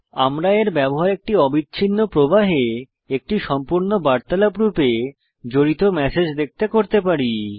আমরা এর ব্যবহার একটি অবিচ্ছিন্ন প্রবাহে একটি সম্পূর্ণ বার্তালাপ রূপে জড়িত ম্যাসেজ দেখতে করতে পারি